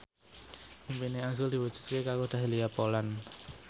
impine azrul diwujudke karo Dahlia Poland